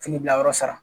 Fini bila yɔrɔ sara